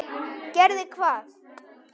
Gerði hvað?